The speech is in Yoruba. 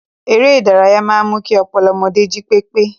Eré-ìdárayá máa ń mú kí ọpọlọ ọmọdé jí pépé.